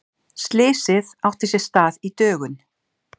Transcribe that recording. Slysið átti sér stað í dögun